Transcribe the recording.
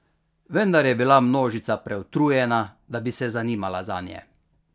Vendar je bila množica preutrujena, da bi se zanimala zanje.